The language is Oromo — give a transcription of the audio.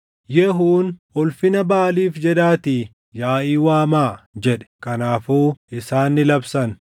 Yehuun, “Ulfina Baʼaaliif jedhaatii yaaʼii waamaa” jedhe. Kanaafuu isaan ni labsan.